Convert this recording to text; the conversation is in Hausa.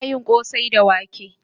Ana yin kosai da wake